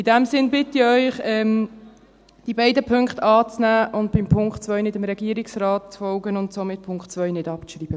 In diesem Sinn bitte ich Sie, diese beiden Punkte anzunehmen, beim Punkt 2 nicht dem Regierungsrat zu folgen und somit den Punkt 2 nicht abzuschreiben.